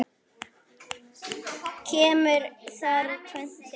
Kemur þar tvennt til.